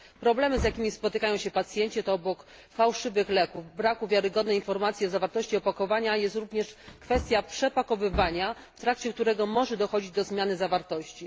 Problemy, z jakimi spotykają się pacjenci, to obok fałszywych leków brak wiarygodnej informacji o zawartości opakowania, a także kwestia przepakowywania, w trakcie którego może dochodzić do zmiany zawartości.